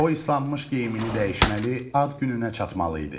O islanmış geyimini dəyişməli, ad gününə çatmalı idi.